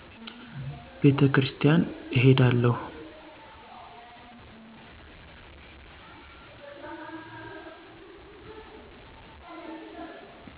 ቤተክርስቲያን እሄዳለሁ